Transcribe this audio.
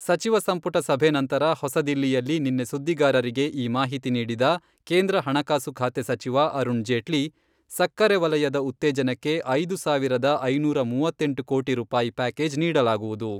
ಸಚಿವ ಸಂಪುಟ ಸಭೆ ನಂತರ ಹೊಸದಿಲ್ಲಿಯಲ್ಲಿ ನಿನ್ನೆ ಸುದ್ದಿಗಾರರಿಗೆ ಈ ಮಾಹಿತಿ ನೀಡಿದ ಕೇಂದ್ರ ಹಣಕಾಸು ಖಾತೆ ಸಚಿವ ಅರುಣ್ ಜೇಟ್ಲಿ, ಸಕ್ಕರೆ ವಲಯದ ಉತ್ತೇಜನಕ್ಕೆ ಐದು ಸಾವಿರದ ಐನೂರ ಮೂವತ್ತೆಂಟು ಕೋಟಿ ರೂಪಾಯಿ ಪ್ಯಾಕೇಜ್ ನೀಡಲಾಗುವುದು.